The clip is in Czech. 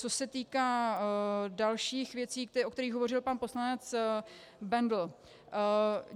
Co se týká dalších věcí, o kterých hovořil pan poslanec Bendl.